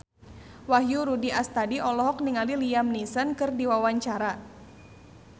Wahyu Rudi Astadi olohok ningali Liam Neeson keur diwawancara